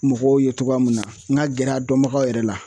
Mɔgɔw ye togoya mun na n ka gɛrɛ a dɔnbagaw yɛrɛ la